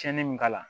Cɛnni min k'a la